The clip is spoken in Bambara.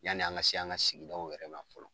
Yani an ka se an ka sigidaw wɛrɛ ma fɔlɔ.